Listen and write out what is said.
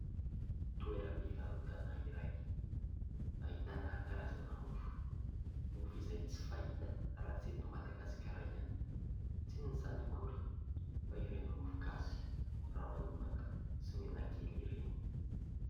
Toeram-pivarotana iray, ahitana karazana mofo; mofo izay tsy fahita raha tsy eto madagasikara ihany, tsy inona izany akory fa ireny mofogasy, ramanonaka sy menakely ireny.